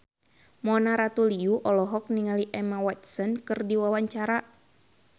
Mona Ratuliu olohok ningali Emma Watson keur diwawancara